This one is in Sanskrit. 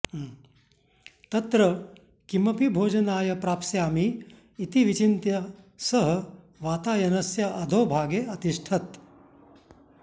तत्र किमपि भोजनाय प्राप्स्यामि इति विचिन्त्य सः वातायनस्य अधो भागे अतिष्ठत्